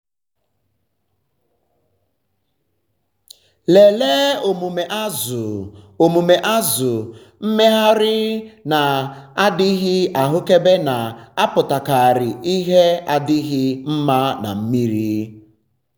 lelee omume azụ - omume azụ - mmegharị na-adịghị ahụkebe na-apụtakarị ihe adịghị um mma na mmiri. um